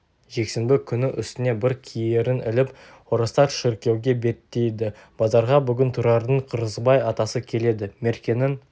жексенбі күні үстіне бір киерін іліп орыстар шіркеуге беттейді базарға бүгін тұрардың қырғызбай атасы келеді меркенің